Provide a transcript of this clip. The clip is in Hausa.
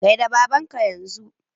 Gaida babanka yanzu!